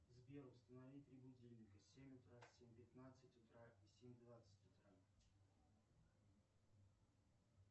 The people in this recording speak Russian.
сбер установи три будильника семь утра семь пятнадцать утра и семь двадцать утра